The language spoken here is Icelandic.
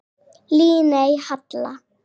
Líney Halla.